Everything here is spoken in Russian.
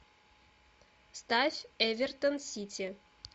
ставь эвертон сити